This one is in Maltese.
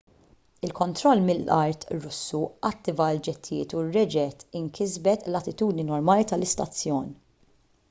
il-kontroll mill-art russu attiva l-ġettijiet u reġgħet inkisbet l-attitudni normali tal-istazzjon